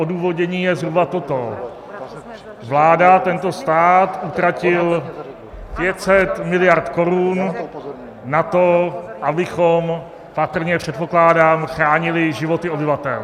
Odůvodnění je zhruba toto: Vláda, tento stát utratil 500 miliard korun na to, abychom patrně, předpokládám, chránili životy obyvatel.